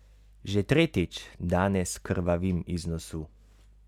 Že tretjič danes krvavim iz nosu!